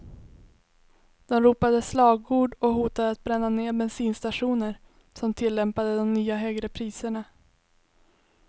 De ropade slagord och hotade att bränna ner bensinstationer som tillämpade de nya högre priserna.